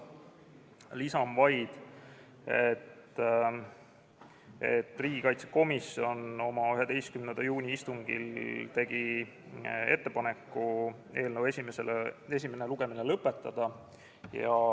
Lisan vaid, et riigikaitsekomisjon oma 11. juuni istungil tegi ettepaneku eelnõu esimene lugemine lõpetada.